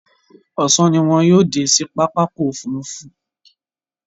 Ọ̀sán ni wọn yóò dé sí pápákọ̀ òfurufú.